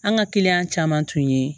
An ka kiliyan caman tun ye